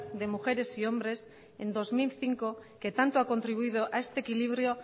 de mujeres y hombres en dos mil cinco que tanto ha contribuido a este equilibrio